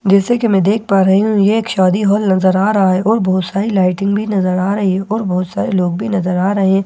जैसा कि‍ मैं देख पा रही हूँ ये एक शादी हॉल नजर आ रहा है और बहुत सारी लाइटिंग भी नजर आ रही हैं और बहुत सारे लोग भी नज़र आ रहे हैं।